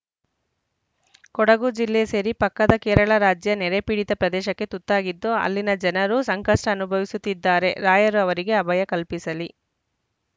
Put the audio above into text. ಕೊಡಗು ಜಿಲ್ಲೆ ಸೇರಿ ಪಕ್ಕದ ಕೇರಳ ರಾಜ್ಯ ನೆರೆಪೀಡಿತ ಪ್ರದೇಶಕ್ಕೆ ತುತ್ತಾಗಿತ್ತು ಅಲ್ಲಿನ ಜನರು ಸಂಕಷ್ಟಅನುಭವಿಸುತ್ತಿದ್ದಾರೆ ರಾಯರ್ ಅವರಿಗೆ ಅಭಯ ಕಲ್ಪಿಸಲಿ